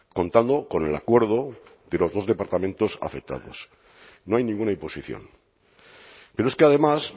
contando con el acuerdo de los dos departamentos afectados no hay ninguna imposición pero es que además